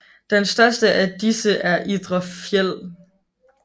Den største af disse er Idre Fjäll